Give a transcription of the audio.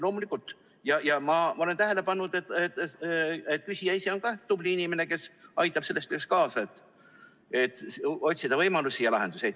Loomulikult, ma olen tähele pannud, et küsija ise on ka tubli inimene, kes aitab kaasa sellele, et otsida võimalusi ja lahendusi.